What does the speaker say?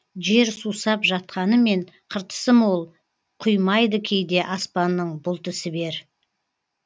жер сусап жатқанымен қыртысы мол құймайды кейде аспанның бұлты сібер